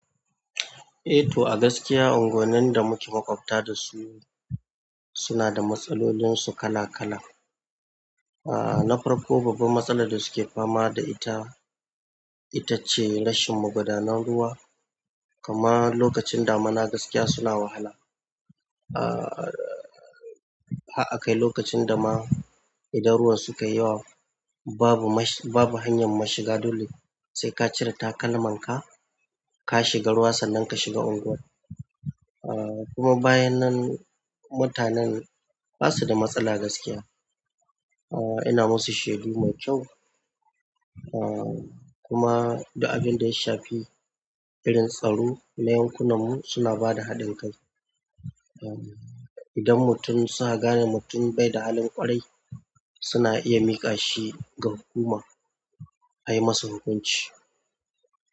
Eh to a gaskiya unguwannin da muke maƙwabta da su suna da matsalolinsu kala kala. Ah nafarko babban matsalar da suke fama da ita, ita ce rashin magudanar ruwa. Kama lokacin damuna gaskiya suna wahala. Ah har akai lokacin dama idan ruwan sukai yawa babu mash-- babu hanyar mu shiga dole sai ka cire takalman ka ka shiga ruwa sannan ka shiga unguwar. Ah kuma bayan nan mutanen basu da matsala gaskiya. Ah ina musu shaidu mai kyau. Ah kuma du abin da ya shafi irin tsaro, na yankunanmu suna bada haɗin kai. Idan mutum suka gane mutum bai da halin ƙwarai suna iya miƙa shi ga hukuma a yi masa hukunci.